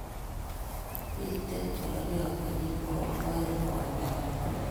Bitei kololiot konyil bokol oeng' koindonyin